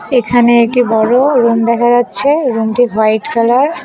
এখানে একটি বড় রুম দেখা যাচ্ছে রুমটি হোয়াইট কালার ।